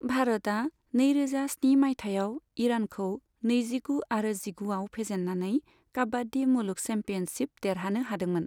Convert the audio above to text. भारतआ नैरोजा स्नि मायथाइयाव ईरानखौ नैजिगु आरो जिगुआव फेजेननानै काबाड्डी मुलुग चैम्पियनशिप देरहानो हादोंमोन।